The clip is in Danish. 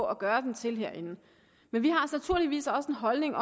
at gøre den til men vi har naturligvis også en holdning